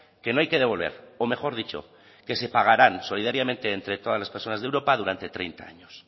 que no hay que devolver o mejor dicho que se pagarán solidariamente entre todas las personas de europa durante treinta años